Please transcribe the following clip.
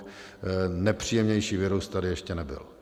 Nepříjemnější virus tady ještě nebyl.